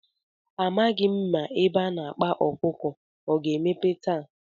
A maghị m ma ebe a na-akpa ọkụkọ ọ ga-emepe taa.